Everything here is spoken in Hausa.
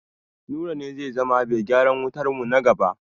Nura ne zai zama bai gyaran wutarmu na gaba.